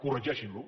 corregeixin lo